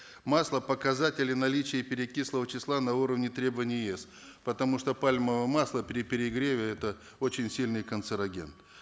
масло показатели наличия перекислого числа на уровне требований еэс потому что пальмовое масло при перегреве это очень сильный канцероген